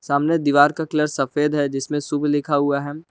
सामने दीवार का कलर सफेद है जिसमें शुभ लिखा हुआ है।